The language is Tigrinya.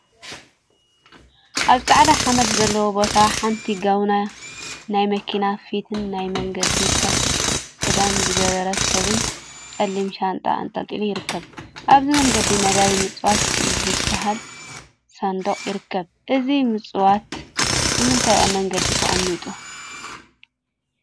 አብ ፃዕዳ ሓመድ ዘለዎ ቦታ ሓንቲ ጋቤና ናይ መኪና ፊትን ናይ መንገዲ ትራፊክ ክዳን ዝገበረ ሰብን ፀሊም ሻንጣ አንጠልጢሉ ይርከብ፡፡ አብዚ መንገዲ ነዳየ ምፅዋት ዝበሃል ሳንዱቅ ይርከብ፡፡ እዚ ምፅዋት ንምንታይ አብ መንገዲ ተቀሚጡ?